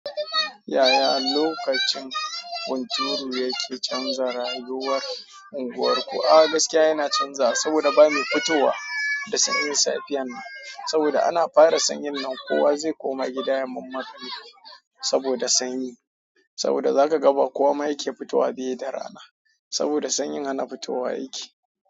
Yaya lokacin hunturu yake canza rayuwar unguwarku? A'a gaskiya yana canza saboda ba mai fitowa da sanyin safiyan nan. Saboda ana fara sanyin nan kowa zai koma gida ya manne gani saboda sanyi. Saboda zaka ga ba kowa ma yake fitowa, bai da rana. Saboda sanyin hana fitowa yake.